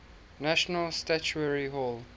national statuary hall